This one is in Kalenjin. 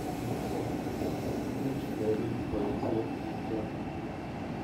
Imuch kopet poisyet chichon